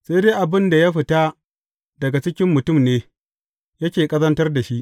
Sai dai abin da ya fita daga cikin mutum ne, yake ƙazantar da shi.